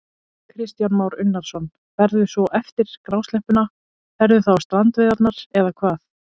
Kristján Már Unnarsson: Ferðu svo eftir grásleppuna, ferðu þá á strandveiðarnar eða hvað?